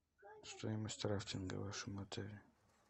стоимость рафтинга в вашем отеле